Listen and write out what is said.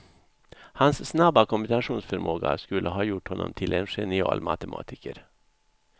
Hans snabba kombinationsförmåga skulle ha gjort honom till en genial matematiker.